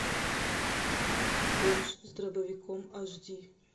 бомж с дробовиком аш ди